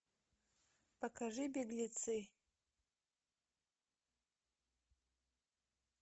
покажи беглецы